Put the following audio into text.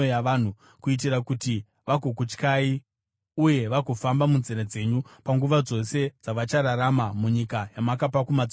kuitira kuti vagokutyai uye vagofamba munzira dzenyu panguva dzose dzavachararama munyika yamakapa kumadzibaba edu.